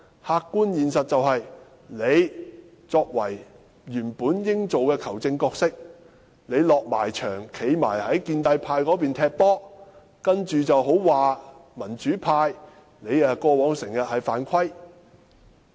客觀現實就是，你原本應該擔任球證的角色，但現在你已走進球場，站在建制派的一方，說民主派過往經常犯規。